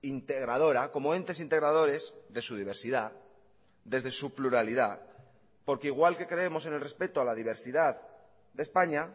integradora como entes integradores de su diversidad desde su pluralidad porque igual que creemos en el respeto a la diversidad de españa